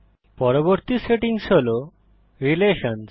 পরবর্তী সেটিং হল রিলেশনসহ